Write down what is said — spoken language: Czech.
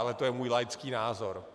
Ale to je můj laický názor.